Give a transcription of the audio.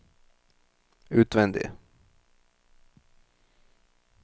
utvendig